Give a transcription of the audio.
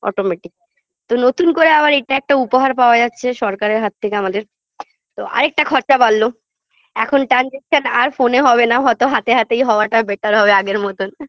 automatic তো নতুন করে আবার এটা একটা উপহার পাওয়া যাচ্ছে সরকারের হাত থেকে আমাদের তো আর একটা খরচা বাড়লো এখন transaction আর phone -এ হবে না হয়তো হাতে হাতে হওয়াটাই better হবে আগের মতোন